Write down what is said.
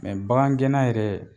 bagan gɛnna yɛrɛ